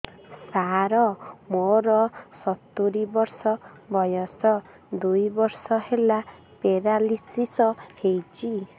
ସାର ମୋର ସତୂରୀ ବର୍ଷ ବୟସ ଦୁଇ ବର୍ଷ ହେଲା ପେରାଲିଶିଶ ହେଇଚି